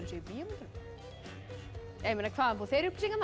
í bíómyndunum hvaðan fá þeir upplýsingarnar